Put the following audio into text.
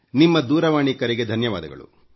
ನಿಮ್ಮ ದೂರವಾಣಿ ಕರೆಗೆ ಧನ್ಯವಾದಗಳು